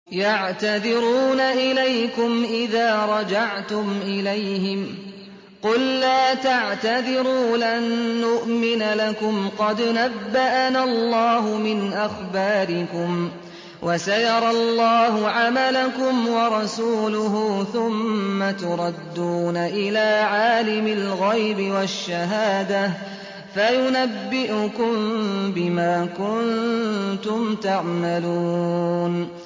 يَعْتَذِرُونَ إِلَيْكُمْ إِذَا رَجَعْتُمْ إِلَيْهِمْ ۚ قُل لَّا تَعْتَذِرُوا لَن نُّؤْمِنَ لَكُمْ قَدْ نَبَّأَنَا اللَّهُ مِنْ أَخْبَارِكُمْ ۚ وَسَيَرَى اللَّهُ عَمَلَكُمْ وَرَسُولُهُ ثُمَّ تُرَدُّونَ إِلَىٰ عَالِمِ الْغَيْبِ وَالشَّهَادَةِ فَيُنَبِّئُكُم بِمَا كُنتُمْ تَعْمَلُونَ